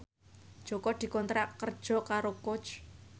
Jaka dikontrak kerja karo Coach